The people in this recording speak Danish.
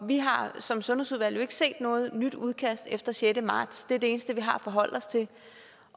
vi har som sundhedsudvalg jo ikke set noget nyt udkast efter sjette marts det er det eneste vi har at forholde os til